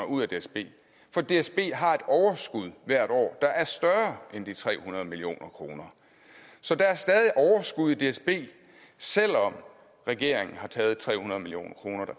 ud af dsb for dsb har et overskud hvert år der er større end de tre hundrede million kroner så der er stadig overskud i dsb selv om regeringen har taget tre hundrede million kroner